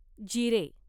जिरे